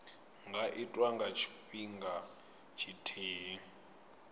nga itwa nga tshifhinga tshithihi